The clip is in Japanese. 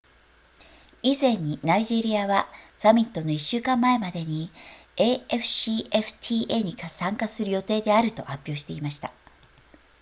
以前にナイジェリアはサミットの1週間前までに afcfta に参加する予定であると発表していました